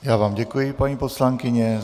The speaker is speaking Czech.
Já vám děkuji, paní poslankyně.